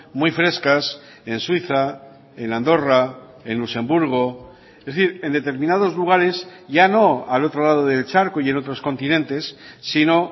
muy frescas en suiza en andorra en luxemburgo es decir en determinados lugares ya no al otro lado del charco y en otros continentes sino